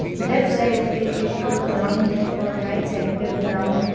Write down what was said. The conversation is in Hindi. लेफ्ट साइड पे एक ग्राउंड है और राइट साइड पे ब्राउन --